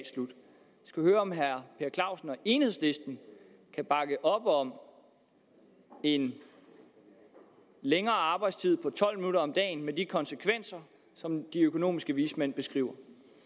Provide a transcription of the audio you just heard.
skal høre om herre per clausen og enhedslisten kan bakke op om en længere arbejdstid med tolv minutter mere om dagen med de konsekvenser som de økonomiske vismænd beskriver